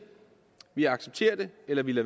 vi accepterer det eller vi